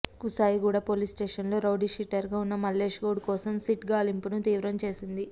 కుషాయిగూడ పోలీసుస్టేషన్లో రౌడీషీటర్గా ఉన్న మల్లేష్ గౌడ్ కోసం సిట్ గాలింపును తీవ్రం చేసింది